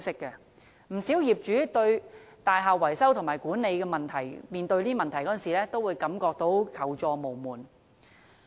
不少業主面對大廈維修和管理問題時，都會感到求助無門。